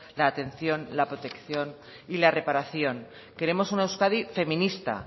la atención la protección y la reparación queremos una euskadi feminista